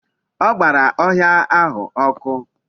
O gbara ohia ahu oku